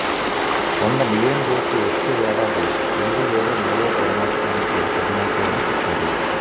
వంద మిలియన్ డోసులు వచ్చే ఏడాది రెండు లేదా మూడో త్రైమాసికానికి సిద్ధమవుతాయని చెప్పారు